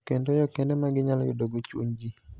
kendo yo kende ma ginyalo yudogo chuny ji